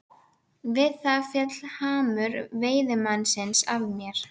Við það féll hamur veiðimannsins af mér.